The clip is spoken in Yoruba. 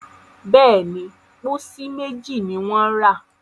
béèni, pósí méjì ní wón ra.